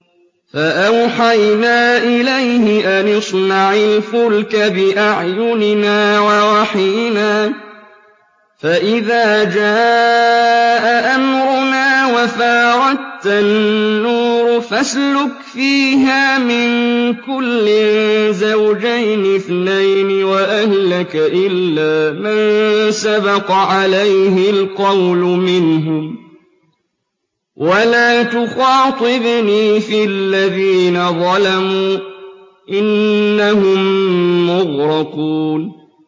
فَأَوْحَيْنَا إِلَيْهِ أَنِ اصْنَعِ الْفُلْكَ بِأَعْيُنِنَا وَوَحْيِنَا فَإِذَا جَاءَ أَمْرُنَا وَفَارَ التَّنُّورُ ۙ فَاسْلُكْ فِيهَا مِن كُلٍّ زَوْجَيْنِ اثْنَيْنِ وَأَهْلَكَ إِلَّا مَن سَبَقَ عَلَيْهِ الْقَوْلُ مِنْهُمْ ۖ وَلَا تُخَاطِبْنِي فِي الَّذِينَ ظَلَمُوا ۖ إِنَّهُم مُّغْرَقُونَ